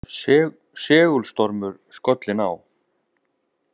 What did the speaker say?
Segulstormur skollinn á